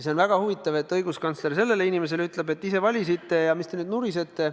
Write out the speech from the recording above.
See on väga huvitav, et õiguskantsler sellele inimesele ütleb, et ise te valisite ja mis te nüüd nurisete.